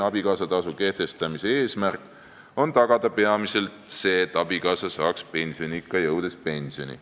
abikaasatasu kehtestamise eesmärk on tagada peamiselt see, et abikaasa saaks pensioniikka jõudes pensioni.